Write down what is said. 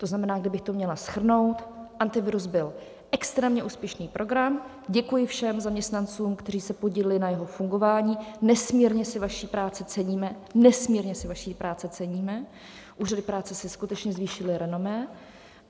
To znamená, kdybych to měla shrnout: Antivirus byl extrémně úspěšný program, děkuji všem zaměstnancům, kteří se podíleli na jeho fungování, nesmírně si vaší práce ceníme - nesmírně si vaší práce ceníme, úřady práce si skutečně zvýšily renomé.